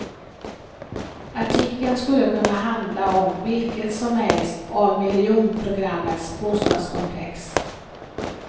Artikeln skulle kunna handla om vilket som helst av miljonprogrammets bostadskomplex.